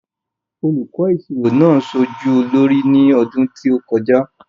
Olùkọ́ ìṣirò náà ṣojú olórí ní ọdún tó kọjá.